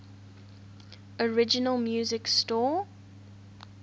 original music score